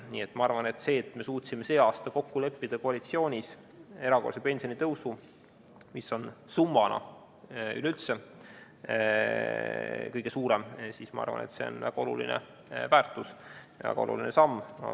Minu arvates on see, et me suutsime sel aastal koalitsiooni sees kokku leppida erakordse pensionitõusu, mis on summana üleüldse kõige suurem, suur väärtus ja väga oluline samm.